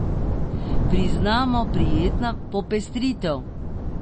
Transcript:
Priznamo, prijetna popestritev.